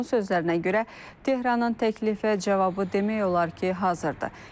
Onun sözlərinə görə Tehranın təklifə cavabı demək olar ki, hazırdır.